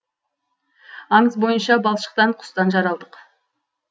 аңыз бойынша балшықтан құстан жаралдық